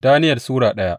Daniyel Sura daya